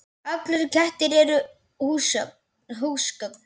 Allir kettir eru húsgögn